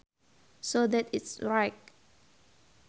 so that it is straight